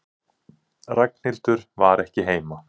Ragnhildur var ekki heima.